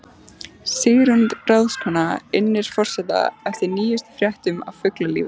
Sigrún ráðskona innir forseta eftir nýjustu fréttum af fuglalífi.